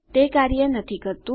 તે કાર્ય નથી કરતુ